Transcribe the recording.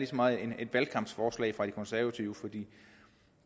så meget er et valgkampsforslag fra de konservative for